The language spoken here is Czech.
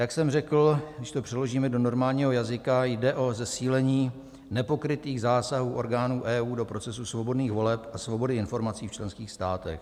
Jak jsem řekl, když to přeložíme do normálního jazyka, jde o zesílení nepokrytých zásahů orgánů EU do procesu svobodných voleb a svobody informací v členských státech.